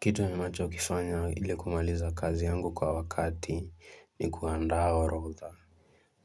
Kitu ninachokifanya ili kumaliza kazi yangu kwa wakati ni kuandaa orodha